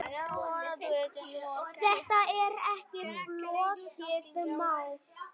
Þetta er ekki flókið mál.